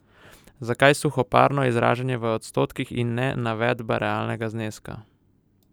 Zakaj suhoparno izražanje v odstotkih in ne navedba realnega zneska?